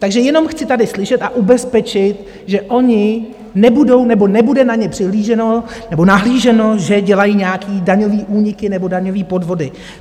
Takže jenom chci tady slyšet a ubezpečit, že oni nebudou nebo nebude na ně přihlíženo nebo nahlíženo, že dělají nějaké daňové úniky nebo daňové podvody.